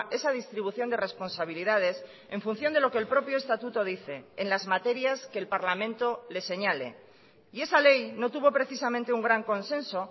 esa distribución de responsabilidades en función de lo que el propio estatuto dice en las materias que el parlamento le señale y esa ley no tuvo precisamente un gran consenso